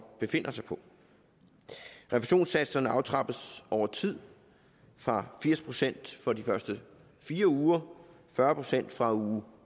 befinder sig på refusionssatserne aftrappes over tid fra firs procent for de første fire uger fyrre procent fra uge